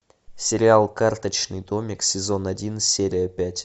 сериал карточный домик сезон один серия пять